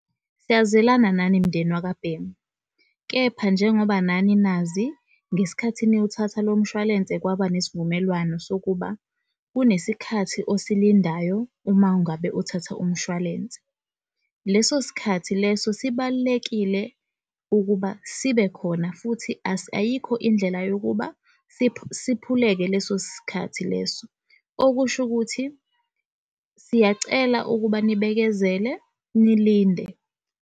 Siyazwelana nani mndeni wakwa Bhengu, kepha njengoba nani nazi ngesikhathi niyow'thatha lo mshwalense kwaba nesivumelwano sokuba kunesikhathi osilindayo uma ngabe uthatha umshwalense leso sikhathi leso sibalulekile ukuba sibekhona futhi ayikho indlela yokuba siphuleke leso sikhathi leso, okusho ukuthi siyacela ukuba nibekezele nilinde.